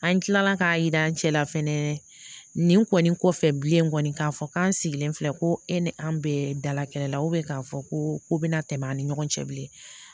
An tilala k'a yira an cɛla fɛnɛ nin kɔni kɔfɛ bilen kɔni k'a fɔ k'an sigilen filɛ ko e ni an bɛɛ dalakɛla k'a fɔ ko bɛna tɛmɛ an ni ɲɔgɔn cɛ bilen